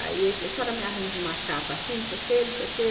Aí ele falou, se ela me arranja uma capa assim, não sei o quê, não sei o quê.